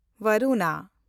ᱵᱟᱨᱩᱱᱟ